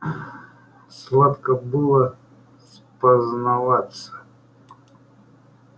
сладко было спознаваться